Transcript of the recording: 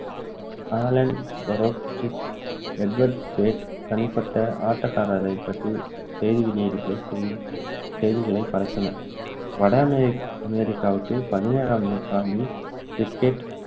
Alan Broderick, Edward Stead தனிப்பட்ட ஆட்டக்காரரை பற்றி செய்தி வெளியீடுகள் செய்திகளை பரப்பின வட அமெரிக்காவுக்கு, பதினேழாம் நூற்றாண்டில் cricket